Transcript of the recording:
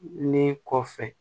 Ne kɔfɛ